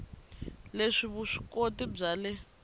le vusw ikoti bya le